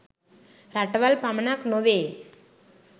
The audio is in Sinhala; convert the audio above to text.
රටවල් පමණක් නොවේ.